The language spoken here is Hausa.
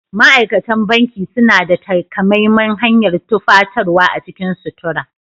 Ma'aikatan banki suna da takamaiman hanyar tufatarwa a cikin sutura.